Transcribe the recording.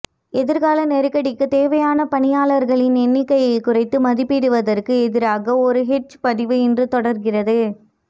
எதிர்கால நெருக்கடிக்குத் தேவையான பணியாளர்களின் எண்ணிக்கையை குறைத்து மதிப்பிடுவதற்கு எதிராக ஒரு ஹெட்ஜ் பதிவு இன்று தொடர்கிறது